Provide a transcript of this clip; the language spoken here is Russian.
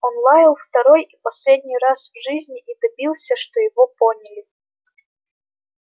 он лаял второй и последний раз в жизни и добился что его поняли